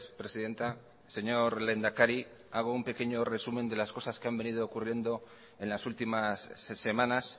presidenta señor lehendakari hago un pequeño resumen de las cosas que han venido ocurriendo en las últimas semanas